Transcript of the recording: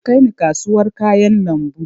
Ki kai ni kasawar kayan lambu!